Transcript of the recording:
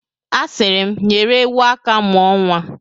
A siri m, nyere ewu aka mụọ nwa.